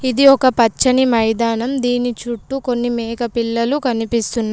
ఇది ఒక పచ్చని మైదానం. దీని చుట్టూ కొన్ని మేకపిల్లలు కనిపిస్తున్నాయి.